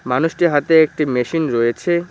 মানুষটির হাতে একটি মেশিন রয়েছে।